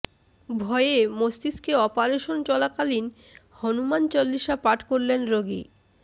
ভয়ে মস্তিষ্কে অপারেশন চলাকালীন হনুমান চল্লিশা পাঠ করলেন রোগী